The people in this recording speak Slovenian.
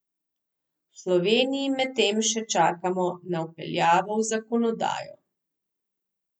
V Sloveniji medtem še čakamo na vpeljavo v zakonodajo.